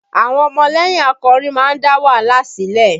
Àwọn ọmọlẹ́yìn akọrin máa ń dá wàhálà sílẹ̀